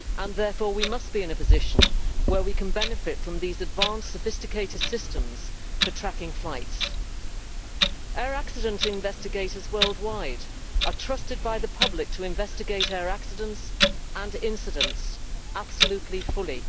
Therefore, we must be in a position where we can benefit from these advanced sophisticated systems for tracking flights. Air accident investigators worldwide are trusted by the public to investigate air accidents and incidents absolutely fully.